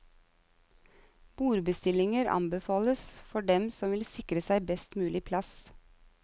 Bordbestillinger anbefales for dem som vil sikre seg best mulig plass.